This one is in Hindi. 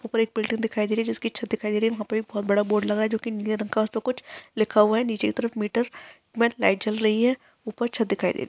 ऊपर एक बिल्डिंग दिखाई दे रही हैं जिसकी छत दिखाई दे रही हैं वहाँ पर एक बहुत बड़ा बोर्ड लगा हुआ है जो की नीले रंग का उसपे कुछ लिखा हुआ है नीचे की तरफ मीटर में लाइट जल रही हैं ऊपर छत दिखाई दे रही --